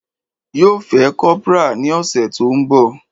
Yo fẹ́ kora ní ọ̀sẹ̀ to ń bọ̀